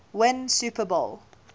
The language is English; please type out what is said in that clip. win super bowl